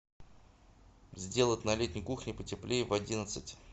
сделать на летней кухне потеплее в одиннадцать